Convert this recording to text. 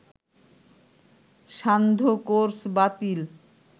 সান্ধ্য কোর্স বাতিল